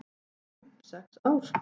"""Fimm, sex ár?"""